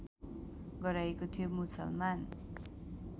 गराइएको थियो मुसलमान